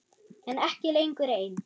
En ekki lengur ein.